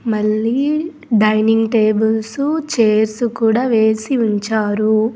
మళ్లీ dining tables chairs కూడా వేసి ఉంచారు.